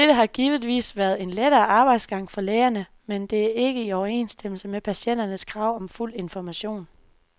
Dette har givetvis været en lettere arbejdsgang for lægerne, men det er ikke i overensstemmelse med patienternes krav om fuld information.